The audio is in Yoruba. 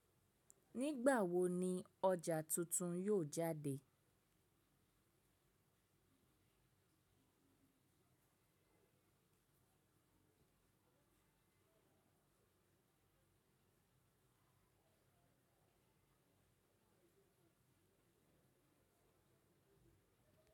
Nígbà wo ni ọjà tuntun yóò jáde?